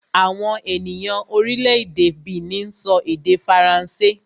Àwọn ènìyàn orílẹ̀-èdè Benin sọ èdè Faransé